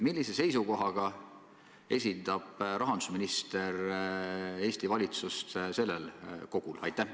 Millise seisukohaga esindab rahandusminister Eesti valitsust selles kogus?